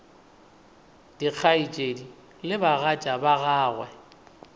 dikgaetšedi le bagatša ba gagwe